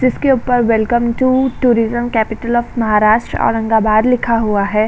जिसके ऊपर welcome to tourism capital of Maharashtra Aurangabad लिखा हुआ है।